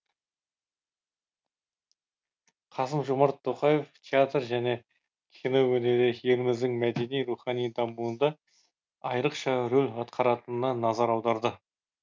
қасым жомарт тоқаев театр және кино өнері еліміздің мәдени рухани дамуында айрықша рөл атқаратынына назар аударды